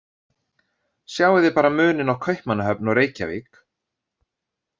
Sjáið þið bara muninn á Kaupmannahöfn og Reykjavík.